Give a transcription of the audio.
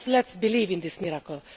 So let us believe in this miracle.